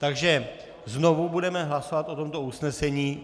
Takže znovu budeme hlasovat o tomto usnesení.